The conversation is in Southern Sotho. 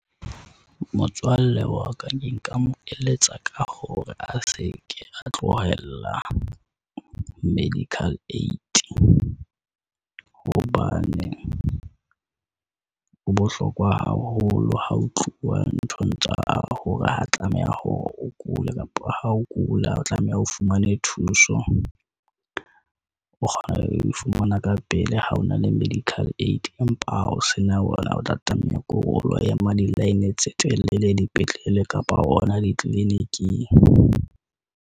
Motswalle waka ke nka mo eletsa ka hore a seke a tlohella medical aid. Hobane ho bohlokwa haholo ha ho tluwa nthong tsa hore ho tlameha hore o kule kapa ha o kula, o tlameha o fumane thuso. O kgona ho e fumana ka pele ha o na le medical aid, empa ha o se na ona, o tla tlameha ke hore o lo ema di line tse telele, dipetlele kapa hona di-clinic.